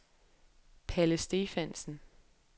Palle Stephansen